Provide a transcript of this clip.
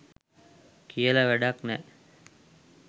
කියල වැඩැක් නැ